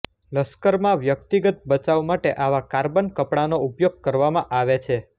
લશ્કરમાં વ્યક્તિગત બચાવ માટે આવા કાર્બન કપડાનો ઉપયોગ કરવામાં આવે છે